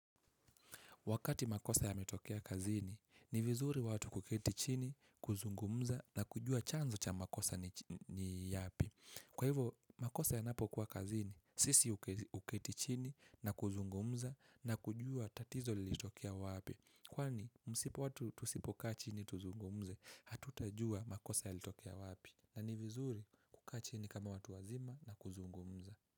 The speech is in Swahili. Wakati makosa yametokea kazini, ni vizuri watu kuketi chini, kuzungumza na kujua chanzo cha makosa ni yapi. Kwa hivo, makosa yanapokua kazini, sisi huketi chini na kuzungumza na kujua tatizo lilitokea wapi. Kwani, msipo watu tusipo kaa chini tuzungumze, hatutajua makosa yalitokea wapi na ni vizuri kukaa chini kama watu wazima na kuzungumza.